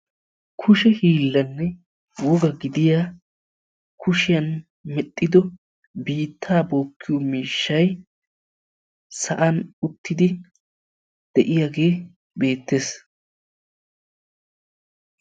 kushe hiilanne woga gidiya kushiyaan medhdhido biittaa bookiyo miishshay sa'an uttidi de'iyaage beettees.